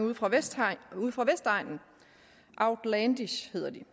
ude fra vestegnen outlandish hedder de